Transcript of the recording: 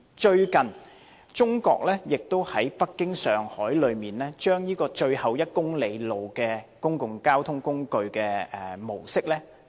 最近，中國亦在北京和上海引入最後1公里公共交通工具的模式。